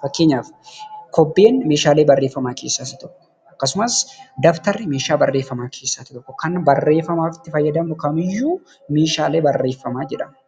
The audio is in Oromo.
Faakkeenyaaf kobbeen meshaalee barreeffamaa keessa isa tokko. Akkasumaas Dabtari meeshaa barreffamaa tokko. Kan barreeffamaaf itti faayadamnu kaam iyyuu meeshaalee barreeffamaa jedhamu.